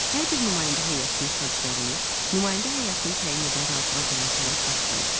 Hər bir nümayəndə heyətinin xərclərini, nümayəndə heyətini təyin edən razılığa gələn tərəf qarşılayır.